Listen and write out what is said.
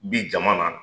Bi jama na